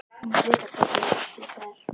Þú munt vita hvert ég fer.